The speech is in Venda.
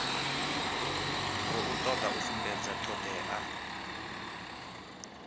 khou toda u sumbedza thodea